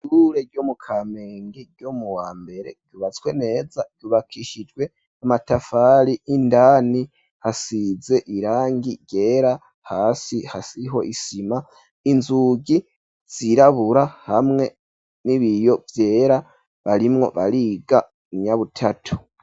Ishure ryo mu kamenge ryo mu wa mbere ryubatswe neza ryubakishijwe amatafari indani hasize irangi ryera hasi hariho isima inzugi zirabura hamwe n'ibiyo vyera barimwo bariga umunyabutatu.